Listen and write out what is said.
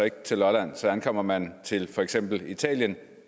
ikke til lolland så ankommer man til for eksempel italien